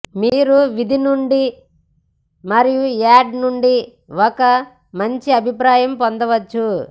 మీరు వీధి నుండి మరియు యార్డ్ నుండి ఒక మంచి అభిప్రాయం పొందవచ్చు